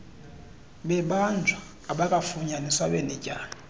bebanjwa abakafunyaniswa benetyala